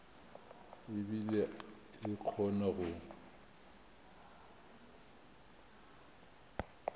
e bile e kgona go